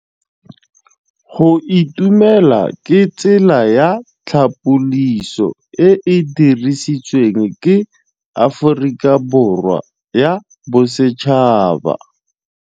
Go itumela ke tsela ya tlhapolisô e e dirisitsweng ke Aforika Borwa ya Bosetšhaba.